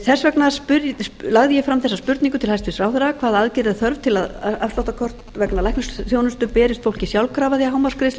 þess vegna lagði ég fram þessa spurningu til hæstvirts ráðherra fyrstu hvaða aðgerða er þörf svo að afsláttarkort vegna lækniskostnaðar berist fólki sjálfkrafa þegar hámarksgreiðslum er